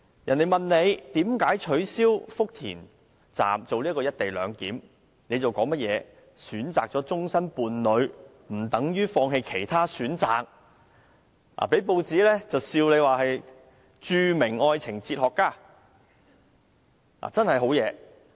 當別人問他為何取消福田站"一地兩檢"時，他卻說即使選擇了終生伴侶，也不等於要放棄其他選擇，因而被報章取笑為愛情哲學家。